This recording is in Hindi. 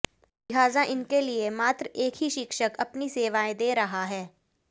लिहाजा इनके लिए मात्र एक ही शिक्षक अपनी सेवाएं दे रहा है